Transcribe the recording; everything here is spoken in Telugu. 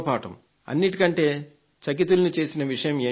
అన్నిటికంటే చకితుల్ని చేసిన విషయం ఏంటంటే